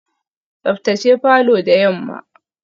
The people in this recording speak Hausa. Tsaftace falor da yamma.